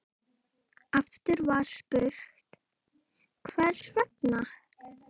Aftur var spurt: Hvers vegna?